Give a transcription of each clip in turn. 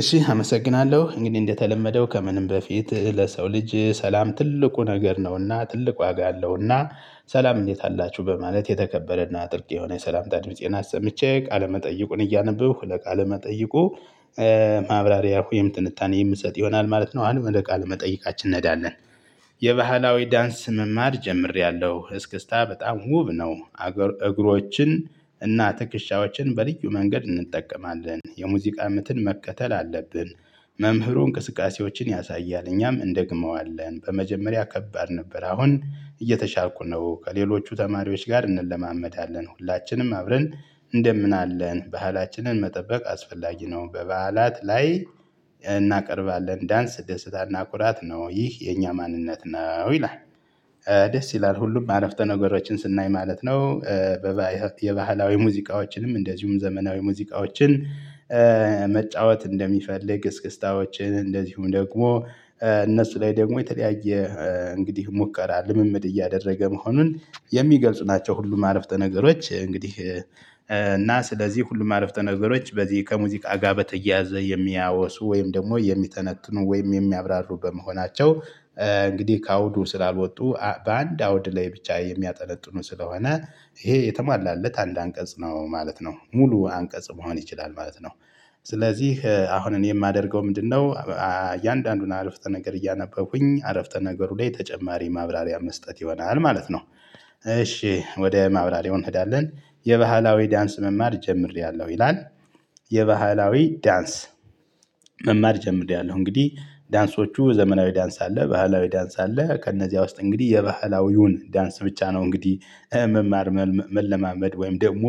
እሺ አመሰግናለሁ እንግዲህ እንደተለመደው ከምንም በፊት ለሰው ልጅ ሰላም ትልቁ ነገር ነውና ትልቁ ዋጋ አለውና ሰላም እንዴት አላችሁ በማለት የተከበረና ጥብቅ የሆነ የሰላምታ ድምፄን አሰምቼ ቃለመጠይቁን እያነበብሁ ለቃለ መጠይቁ። ማብራሪያ ሆይም ትንታኔ የምሰጥ ይሆናል ማለት ነው። አሁን ወደ ቃለ መጠይቃችን እንሄዳለን። የባህላዊ ዳንስ መማር ጀምሬያለሁ እስክስታ በጣም ውብ ነው። እግሮችን እና ትክሻዎችን በልዩ መንገድ እንጠቀማለን የሙዚቃ ምትን መከተል አለብን። መምህሩ እንቅስቃሴዎችን ያሳያል እኛም እንደግመዋለን በመጀመሪያ ከባድ ነበር አሁን እየተሻልኩ ነው። ከሌሎቹ ተማሪዎች ጋር እንለማመዳለን ሁላችንም አብረን እንደምን አለን ባህላችንን መጠበቅ አስፈላጊ ነው። በበዓላት ላይ እናቀርባለን ዳንስ ደስታና ኩራት ነው ይህ የኛ ማንነት ነው ይላል። ደስ ይላል ሁሉም አረፍተ ነገሮችን ስናይ ማለት ነው። የባህላዊ ሙዚቃዎችንም እንደዚሁም ዘመናዊ ሙዚቃዎችን መጫወት እንደሚፈልግ እስክስክታዎችን እንደዚሁም ደግሞ እነሱ ላይ ደግሞ የተለያየ እንግዲህ ሙከራ ልምምድ እያደረገ መሆኑን የሚገልጹ ናቸው። ሁሉም አረፍተ ነገሮች እንግዲህ እና ስለዚህ ሁሉም አረፍተ ነገሮች በዚህ ከሙዚቃ ጋር በተያያዘ የሚያወሱ ወይም ደግሞ የሚተነትኑ ወይም የሚያብራሩ በመሆናቸው። እንግዲህ ከአውዱ ስላልወጡ በአንድ አውድ ላይ ብቻ የሚያጠነጥኑ ስለሆነ ይሄ የተሟላለት አንድ አንቀጽ ነው ማለት ነው። ሙሉ አንቀጽ መሆን ይችላል ማለት ነው። ስለዚህ አሁን እኔ የማደርገው ምንድነው? እያንዳንዱን አረፍተ ነገር እያነበብኩኝ አረፍተ ነገሩ ላይ ተጨማሪ ማብራሪያ መስጠት ይሆናል ማለት ነው። እሺ ወደ ማብራሪያው እንሄዳለን። የባህላዊ ዳንስ መማር ጀምሬያለሁ ይላል። የባህላዊ ዳንስ መማር ጀምሬያለሁ። እንግዲህ ዳንሶቹ ዘመናዊ ዳንስ አለ ባህላዊ ዳንስ አለ ከእነዚያ ውስጥ እንግዲህ የባህላዊውን ዳንስ ብቻ ነው እንግዲህ መማር መለማመድ ወይም ደግሞ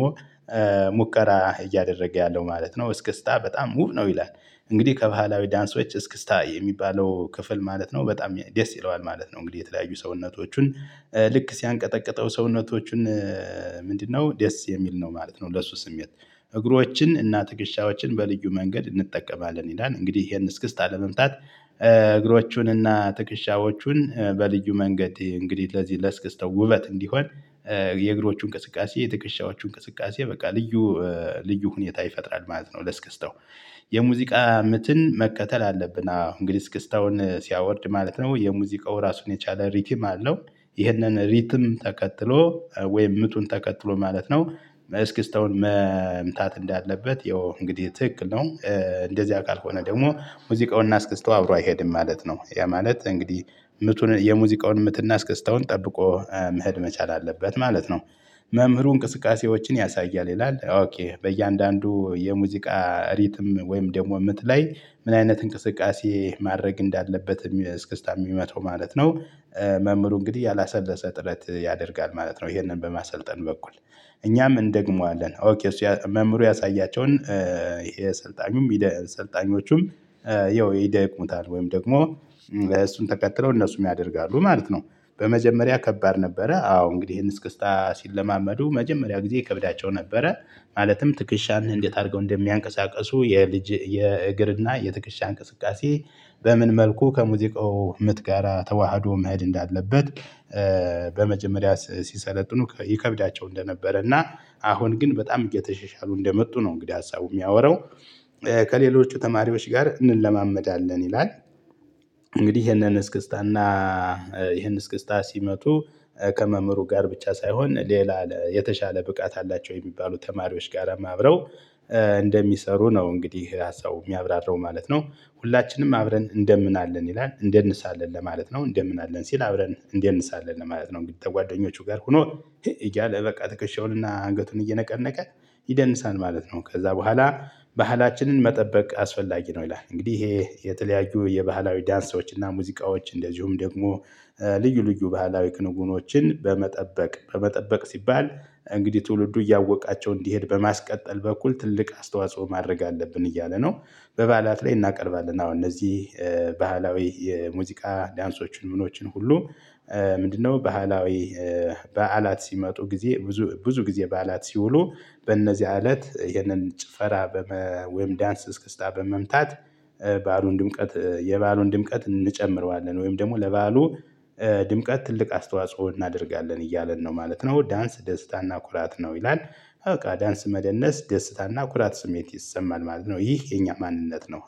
ሙከራ እያደረገ ያለው ማለት ነው። እስከስታ በጣም ውቭ ነው ይላል። እንግዲህ ከባህላዊ ዳንሶች እስክስታ የሚባለው ክፍል ማለት ነው በጣም ደስ ይለዋል ማለት ነው። እንግዲህ የተለያዩ ሰውነቶቹን ልክ ሲያንቀጠቅጠው ሰውነቶቹን ምንድነው? ደስ የሚል ነው ማለት ነው። ለሱ ስሜት እግሮችን እና ትክሻዎችን በልዩ መንገድ እንጠቀማለን ይላል። እንግዲህ ይሄን እስክስታ ለመምታት እግሮቹንና ትክሻዎቹን በልዩ መንገድ እንግዲህ ለዚህ ለስክስታው ውበት እንዲሆን የእግሮቹ እንቅስቃሴ የትክሻዎቹ እንቅስቃሴ በቃ ልዩ ልዩ ሁኔታ ይፈጥራል ማለት ነው። ለስክስተው የሙዚቃ ምትን መከተል አለብን። አዎ እንግዲህ ስክስታውን ሲያወርድ ማለት ነው የሙዚቃው ራሱን የቻለ ሪትም አለው። ይህንን ሪትም ተከትሎ ወይም ምቱን ተከትሎ ማለት ነው። እስክስተውን መምታት እንዳለበት ያው እንግዲህ ትክክል ነው። እንደዚያ ካልሆነ ደግሞ ሙዚቃውንና አስክስታው አብሮ አይሄድም ማለት ነው። ያ ማለት እንግዲህ ምቱን የሙዚቃውን ምትና እስከስታውን ጠብቆ መሄድ መቻል አለበት ማለት ነው። መምህሩ እንቅስቃሴዎችን ያሳያል ይላል ኦኬ በእያንዳንዱ የሙዚቃ ሪትም ወይም ደግሞ የምትለይ ምን? አይነት እንቅስቃሴ ማድረግ እንዳለበት እስክስታ የሚመታው ማለት ነው። መምህሩ እንግዲህ ያላሰለሰ ጥረት ያደርጋል ማለት ነው ይሄንን በማሰልጠን በኩል። እኛም እንደግመዋለን ኦኬ መምህሩ ያሳያቸውን ይሄ ሰልጣኙም ይሄ ሰልጣኞቹም ይሄ ይደቅሙታል ወይም ደግሞ እሱን ተከትለው እነሱም ያደርጋሉ ማለት ነው። በመጀመሪያ ከባድ ነበረ አዎ እንግዲህ ይሄን እስክስታ ሲለማመዱ መጀመሪያ ጊዜ ይከብዳቸው ነበረ። ማለትም ትክሻን እንዴት አድርገው እንደሚያንቀሳቅሱ የልጅ የእግርና የትክሻ እንቅስቃሴ በምን መልኩ ከሙዚቃው ምት ጋራ ተዋህዶ መሄድ እንዳለበት። በመጀመሪያ ሲሰለጥኑ ይከብዳቸው እንደነበረ እና አሁን ግን በጣም እየተሸሻሉ እንደመጡ ነው። እንግዲህ ሀሳቡ የሚያወራው ከሌሎቹ ተማሪዎች ጋር እንለማመዳለን ይላል። እንግዲህ ይሄንን እስክስታና ይህን እስክስታ ሲመቱ ከመምህሩ ጋር ብቻ ሳይሆን ሌላ የተሻለ ብቃት አላቸው የሚባሉ ተማሪዎች ጋራም አብረው እንደሚሰሩ ነው እንግዲህ ሀሳቡ የሚያብራራው ማለት ነው። ሁላችንም አብረን እንደምን አለን ይላል እንደንሳለን ለማለት ነው እንደምን አለን ሲል አብረን እንደንሳለን ማለት ነው። ጓደኞቹ ጋር ሆኖ እያለ በቃ ትከሻውንና አንገቱን እየነቀነቀ ይደንሳል ማለት ነው። ከዛ በኋላ ባህላችንን መጠበቅ አስፈላጊ ነው። ይላል እንግዲህ ይሄ የተለያዩ የባህላዊ ዳንሶች እና ሙዚቃዎች እንደዚሁም ደግሞ ልዩ ልዩ ባህላዊ ክንውኖችን በመጠበቅ በመጠበቅ ሲባል እንግዲህ ትውልዱ እያወቃቸው እንዲሄድ በማስቀጠል በኩል ትልቅ አስተዋጽኦ ማድረግ አለብን እያለ ነው። በበዓላት ላይ እናቀርባለን አሁን እነዚህ ባህላዊ የሙዚቃ ዳንሶችን ምኖችን ሁሉ ምንድነው? ባህላዊ በዓላት ሲመጡ ጊዜ ብዙ ብዙ ጊዜ በዓላት ሲውሉ በእነዚያ እለት ይህነን ጭፈራ በመ ወይም ዳንስ እስክስታ በመምታት። ባሉን ድምቀት የበአሉን ድምቀት እንጨምረዋለን ወይም ደግሞ ለበአሉ ድምቀት ትልቅ አስተዋጽኦ እናደርጋለን እያለን ነው ማለት ነው። ዳንስ ደስታና ኩራት ነው ይላል። በቃ ዳንስ መደነስ ደስታና ኩራት ስሜት ይሰማል ማለት ነው። ይህ የኛ ማንነት ነው